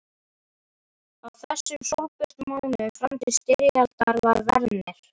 Á þessum sólbjörtu mánuðum fram til styrjaldar, var Werner